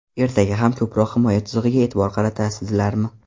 Ertaga ham ko‘proq himoya chizig‘iga e’tibor qaratasizlarmi?